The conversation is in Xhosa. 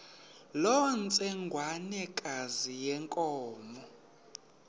loo ntsengwanekazi yenkomo